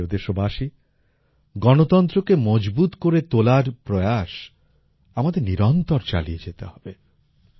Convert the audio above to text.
আমার প্রিয় দেশবাসী গণতন্ত্রকে মজবুত করে তোলার প্রয়াস আমাদের নিরন্তর চালিয়ে যেতে হবে